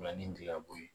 Ni nin tɛ ka bɔ ye